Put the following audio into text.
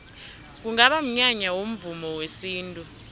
kungaba mnyanya womvumo wesintu